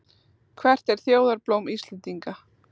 Hvert er þjóðarblóm Íslendinga?